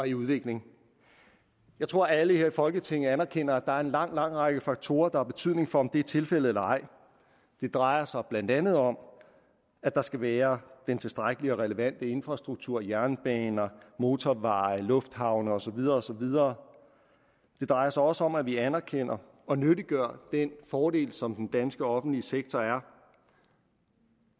i udvikling jeg tror alle her i folketinget anerkender at der er en lang lang række faktorer der har betydning for om det er tilfældet eller ej det drejer sig blandt andet om at der skal være den tilstrækkelige og relevante infrastruktur jernbaner motorveje lufthavne og så videre og så videre det drejer sig også om at vi anerkender og nyttiggør den fordel som den danske offentlige sektor er